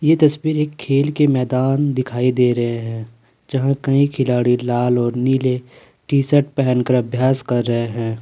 यह तस्वीर एक खेल के मैदान दिखाई दे रहे हैं यहां कई खिलाड़ी लाल और नीले टी_शर्ट पहनकर अभ्यास कर रहे हैं।